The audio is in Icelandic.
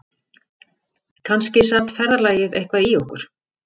Kannski sat ferðalagið eitthvað í okkur